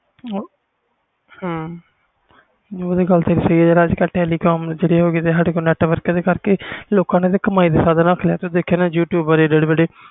ਉਹ ਤੇ ਤੇਰੀ ਗੱਲ ਸਹੀ ਆ ਜਿਹੜਾ telecom ਅੱਜ ਕਲ ਜਿਹੜੇ ਸਾਡੇ ਤੋਂ data ਓਹਦੇ ਕਰਕੇ ਲੋਕਾਂ ਤੇ ਕਮਾਈ ਦੇ ਸਾਧਨ ਰੱਖ ਲਿਆ ਦੇਖਿਆ ਹੋਣਾ youtube